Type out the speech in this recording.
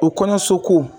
O kɔɲɔso ko